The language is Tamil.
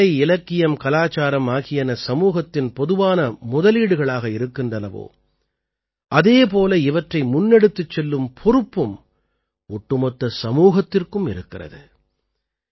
எப்படி கலை இலக்கியம் கலாச்சாரம் ஆகியன சமூகத்தின் பொதுவான முதலீடுகளாக இருக்கின்றனவோ அதே போல இவற்றை முன்னெடுத்துச் செல்லும் பொறுப்பும் ஒட்டுமொத்த சமூகத்திற்கும் இருக்கிறது